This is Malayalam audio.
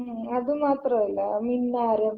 മ്മ്, അത് മാത്രല്ല. മിന്നാരം.